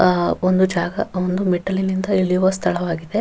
ಅಹ್ ಒಂದು ಜಾಗ ಒಂದು ಮೆಟ್ಟಲಿನಿಂದ ಇಳಿಯುವ ಸ್ಥಳವಾಗಿದೆ.